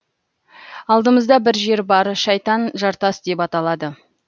алдымызда бір жер бар шайтан жартас деп аталады